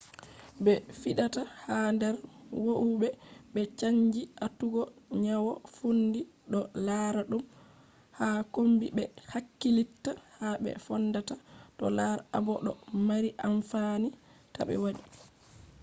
be fidata ha der howube be canji atugo nyawo fondi do lara dum ha kombi be hakkilitta ha be fondata do lar abo do mari amfani tabe wadi